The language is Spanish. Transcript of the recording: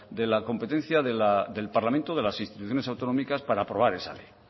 de la competencia del parlamento de las instituciones autónomas para aprobar esa ley